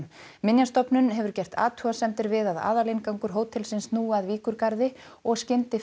minjastofnun hefur gert athugasemdir við að aðalinngangur hótelsins snúi að Víkurgarði og